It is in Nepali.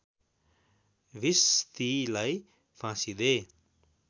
भिस्तीलाई फाँसी दे